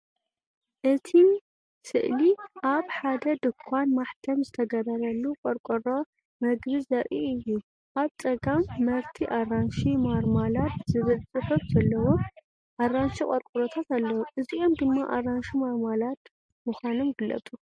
እቲ ስእሊ ኣብ ሓደ ድኳን ማሕተም ዝተገብረሉ ቆርቆሮ መግቢ ዘርኢ እዩ። ኣብ ጸጋም “መርቲ ኣራንሺ ማርማላድ” ዝብል ጽሑፍ ዘለዎም ኣራንሺ ቆርቆሮታት ኣለዉ፣ እዚኦም ድማ ኣራንሺ ማርማላድ ምዃኖም ይፍለጡ።